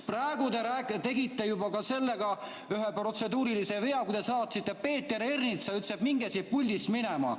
Praegu te tegite juba ühe protseduurilise vea, kui te ütlesite Peeter Ernitsale, et minge siit puldist minema.